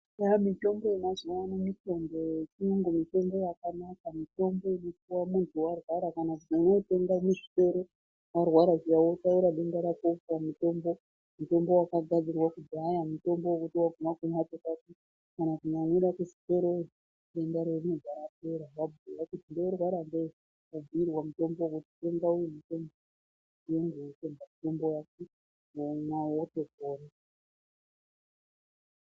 Eya mitombo yemazuva ano mitombo yechiyungu, mitombo yakanaka, mitombo inopuwa muntu warwara kana kuti vantu vanotenga muzvitoro ararwara zviya otaura denda rakewopuwa mutombo, mutombo wakagadzirwa kudhaya wotaura denda rako wopuwa mutombo wekuti waguma kumhatso kwako kana kumwira kuzvitoroyo womwa woto pora wabhuya kuti ndinorwara ngeyi, wobhuirwa kuti tenga uyu womwa wotopora.